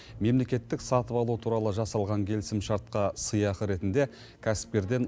мемлекеттік сатып алу туралы жасалған келісімшартқа сыйақы ретінде кәсіпкерден